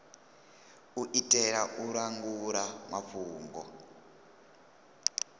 u itela u langula mafhungo